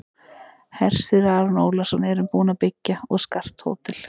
Hersir Aron Ólafsson: Erum við búin að byggja og skart hótel?